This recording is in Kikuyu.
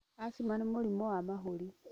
Acima nĩ mũrimũ wa mahũri